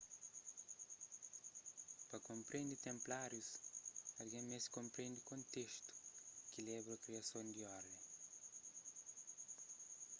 pa konprende tenplárius algen meste konprende kontestu ki leba a kriason di orden